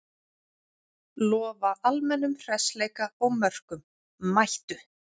Lofa almennum hressleika og mörkum, mættu!